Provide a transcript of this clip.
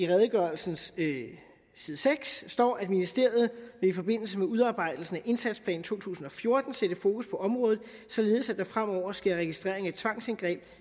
redegørelsens side seks står ministeriet vil i forbindelse med udarbejdelsen af indsatsplan to tusind og fjorten sætte fokus på området således at der fremover sker registrering af tvangsindgreb